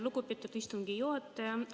Lugupeetud istungi juhataja!